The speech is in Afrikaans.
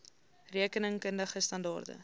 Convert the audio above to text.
rekening kundige standaarde